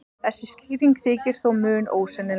Þessi skýring þykir þó mun ósennilegri.